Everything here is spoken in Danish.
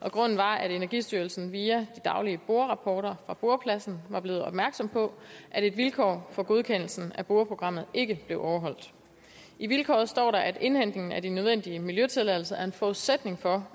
og grunden var at energistyrelsen via de daglige borerapporter fra borepladsen var blevet opmærksom på at et vilkår for godkendelsen af boreprogrammet ikke blev overholdt i vilkåret står der at indhentning af de nødvendige miljøtilladelser er en forudsætning for